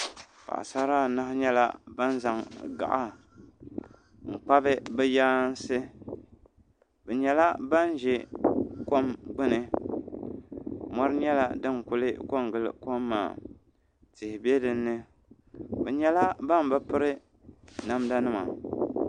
Paɣisara anahi nyɛla ban zaŋ gaɣa m-kpabi bɛ yaansi bɛ nyɛla ban ʒe kom gbuni mɔri nyɛla din kuli pe n-gili kom maa tihi be dini bɛ nyɛla ban bi piri namdanima.